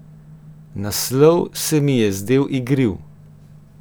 Naslov se mi je zdel igriv.